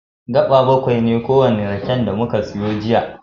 Gaɓa baƙwai ne kowane raken da muka siyo jiya.